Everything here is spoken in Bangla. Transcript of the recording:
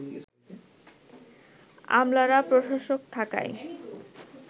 আমলারা প্রশাসক থাকায়